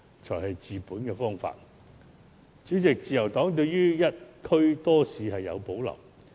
這才是治本的方法。主席，自由黨對於"一區多市"有所保留。